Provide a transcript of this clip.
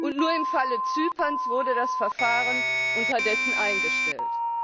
Und nur im Falle Zyperns wurde das Verfahren unterdessen eingestellt.